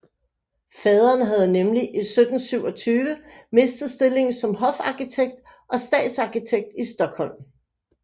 Faderen havde nemlig i 1727 mistet stillingen som hofarkitekt og stadsarkitekt i Stockholm